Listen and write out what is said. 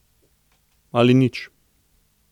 Ali nič.